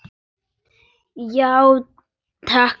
Já, takk fyrir.